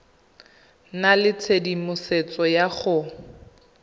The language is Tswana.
nna le tshedimosetso ya go